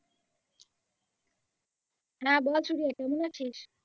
হ্যাঁ বল সুরিয়া কেমন আছিস?